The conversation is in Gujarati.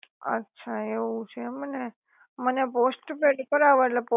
અછા, એવું છે એમને મને પોસ્ટપેડ કરવા ઍટલે